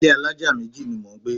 Ilé alájà méjì ni mò ń gbé.